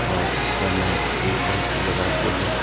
और ऊपर में ट्यूबलाइट भी लगा के है।